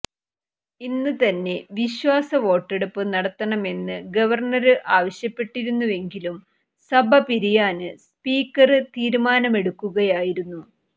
ഇന്ന് തന്നെ വിശ്വാസ വോട്ടെടുപ്പ് നടത്തണമെന്ന് ഗവര്ണര് ആവശ്യപ്പെട്ടിരുന്നുവെങ്കിലും സഭ പിരിയാന് സ്പീക്കര് തീരുമാനമെടുക്കുകയായിരുന്നു